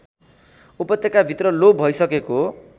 उपत्यकाभित्र लोप भइसकेको